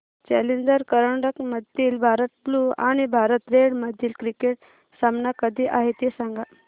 challenger करंडक मधील Bharat blue आणि भारत रेड मधील क्रिकेट सामना कधी आहे ते सांगा